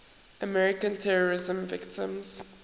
american terrorism victims